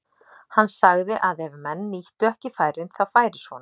Hann sagði að ef menn nýttu ekki færin þá færi svona.